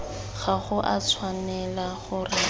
ga go a tshwanela gore